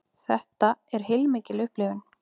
Þetta er heilmikil upplifun